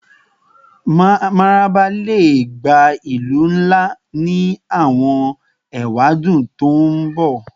Mararaba le gba ilu nla ni awọn ewadun to n bọ